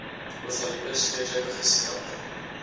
ovalipes tweekleppiges krappe